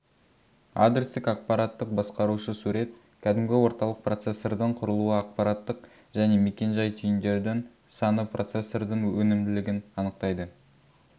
адрестік ақпараттық басқарушы сурет кәдімгі орталық процессордың құрылуы ақпараттық және мекен-жай түйіндердің саны процессордың өнімділігін анықтайды